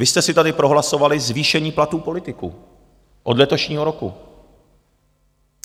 Vy jste si tady prohlasovali zvýšení platů politiků od letošního roku!